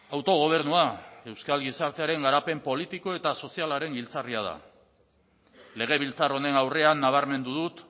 autogobernua euskal gizartearen garapen politiko eta sozialaren giltzarria da legebiltzar honen aurrean nabarmendu dut